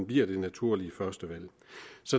bliver det naturlige førstevalg